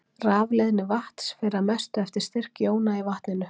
Rafleiðni vatns fer að mestu eftir styrk jóna í vatninu.